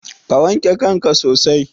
Ka wanke kanka sosai.